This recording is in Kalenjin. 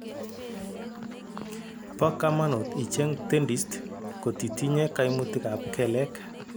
Bo kamanuut icheng dentist kotitinye kaimutik ak keleek